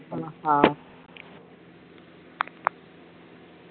ஆஹ்